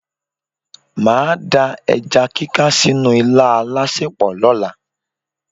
Màá da ẹja kíká sínú ilá alásèpò lọ́la.